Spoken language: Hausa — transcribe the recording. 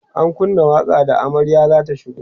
an kunna waƙa da amaryar zata shigo